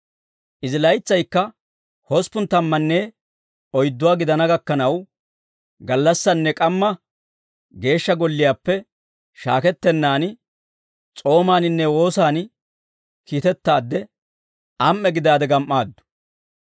Izi laytsaykka hosppun tammanne oydduwaa gidana gakkanaw gallassaanne k'ammaa geeshsha golliyaappe shaakettennaan s'oomaaninne woosaan kiitettaadde am"e gidaade gam"aaddu.